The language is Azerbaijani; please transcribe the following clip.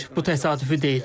Bu təsadüfi deyil.